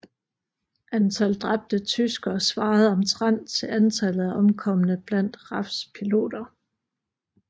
Antal dræbte tyskere svarede omtrent til antallet af omkomne blandt RAFs piloter